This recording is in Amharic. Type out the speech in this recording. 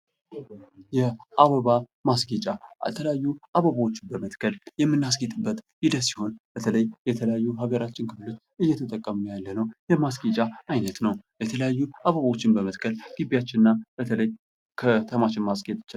የአበባ ማስጌጫ የተለያዩ አበቦች በመትከል የምናስጌጥበት ሂደት ሲሆን በተለይ የተለያዩ ሀገራችን ክፍል እየተጠቀምነው ያለነው የማስጌጫ አይነት ነው ። የተለያዩ አበቦችን በመትከል ግቢያችንን እና በተለይ ከተማችንን ማስጌጥ እንችላለን ።